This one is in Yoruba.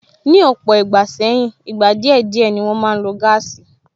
Ni ọ̀pọ̀ ìgbà sẹ́yìn, ìgbà díẹ̀ díẹ̀ ni wọn máa ń lo gáàsì